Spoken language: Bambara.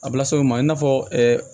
A bila se o ma i n'a fɔ ɛ